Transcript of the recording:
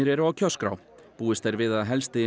eru á kjörskrá búist er við að helsti